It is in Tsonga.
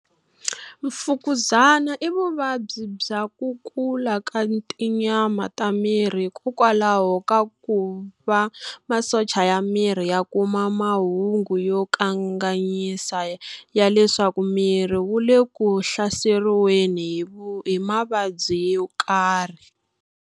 Mfukuzana i vuvabyi bya ku kula ka tinyama ta miri hikokwalaho ka ku va masocha ya miri ya kuma mahungu yo kanganyisa ya leswaku miri wu le ku hlaseriweni hi mavabyi yo karhi.